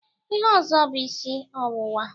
Ihe ọzọ bụ isi ọwụwa.